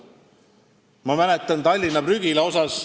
Ma mäletan Tallinna prügila rajamist.